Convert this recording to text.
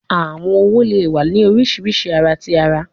Awọn õwo le wa ni oriṣiriṣi ara ti ara